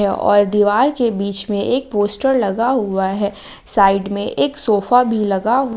और दीवार के बीच में एक पोस्टर लगा हुआ है साइड में एक सोफा भी लगा--